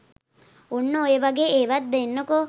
ඔන්න ඔය වගේ ඒවත් දෙන්නකෝ